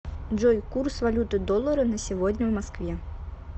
джой курс валюты доллара на сегодня в москве